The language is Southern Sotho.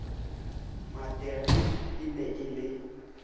materiki e ne e le